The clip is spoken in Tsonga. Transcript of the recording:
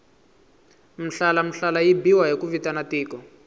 mhlalamhlala yi biwa ku vitana tiko